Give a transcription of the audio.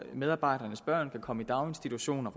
medarbejdernes børn kan komme i daginstitution og